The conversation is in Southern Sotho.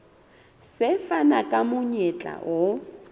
se fana ka monyetla o